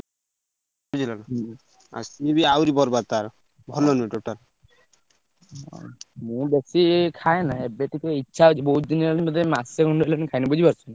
ବୁଝିଲ ନା ହୁଁ। ସିଏ ବି ଆଉ ରି ବରବାଦ୍ ତାର ଭଲ ନୁହେଁ total । ମୁଁ ବେସି ଖାଏନା ଏବେ ଟିକେ ଇଛା ହଉଛି ବହୁତ୍ ଦିନ ହେଲାଣି ବୋଧେ ମାସେ ଖଣ୍ଡେ ହେଲାଣି ମୁଁ ଖାଇନି ବୁଝିପାରୁଛ ନା।